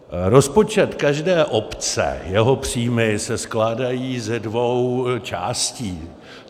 Rozpočet každé obce, jeho příjmy, se skládají ze dvou částí.